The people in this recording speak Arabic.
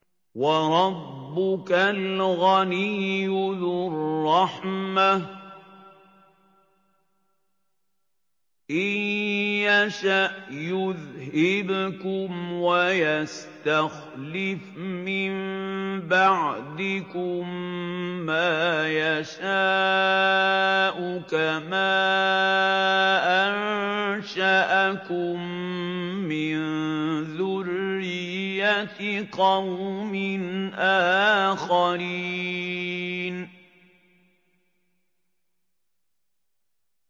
وَرَبُّكَ الْغَنِيُّ ذُو الرَّحْمَةِ ۚ إِن يَشَأْ يُذْهِبْكُمْ وَيَسْتَخْلِفْ مِن بَعْدِكُم مَّا يَشَاءُ كَمَا أَنشَأَكُم مِّن ذُرِّيَّةِ قَوْمٍ آخَرِينَ